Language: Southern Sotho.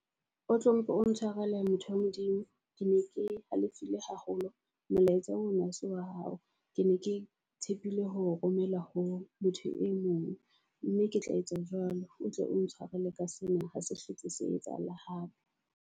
Otlo mpe o ntshwarele motho wa Modimo. Ke ne ke halefile haholo molaetsa ona o se wa hao. Ke ne ke tshepile ho romela ho motho e mong mme ke tla etsa jwalo. O tle o ntshwarele ka sena. Ha se hlotse se etsahala hape.